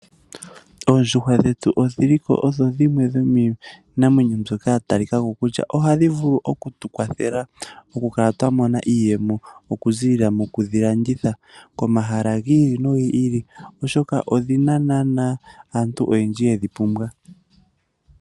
Oondjuhwa dhetu odhi li odho dhimwe dho miinamwenyo mbyoka ya talikako kutya ohadhi vulu oku tu kwathela, mokukala twa mona iiyemo okuzilila moku dhi landitha komahala gi ili nogi ili. Oshoka odhi na naana aantu oyendji ye dhi pumbwa.